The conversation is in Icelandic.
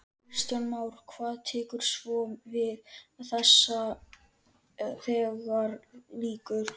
Kristján Már: Hvað tekur svo við þegar þessu lýkur?